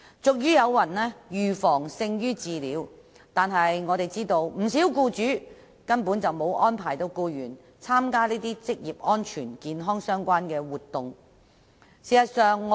俗語有云："預防勝於治療"，但據我們所知，不少僱主根本沒有安排僱員參加一些與職安健相關的活動。